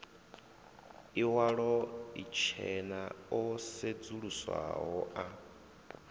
iwalo itshena o sedzuluswaho a